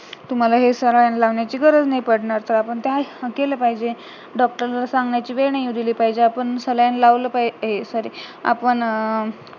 तर तुम्हाला हे saline लावण्याची गरज नाही पडणार तर आपण केलं पाहिजे डॉक्टरला सांगण्याची वेळ नाही अली पाहिजे तर आपण अं sorry आपण अं